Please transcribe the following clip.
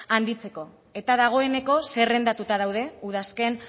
handitzeko eta dagoeneko zerrendatuta daude udazken